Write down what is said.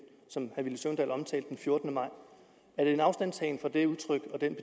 fjortende maj er det en afstandtagen fra det udtryk og den